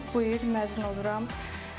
Artıq bu il məzun oluram.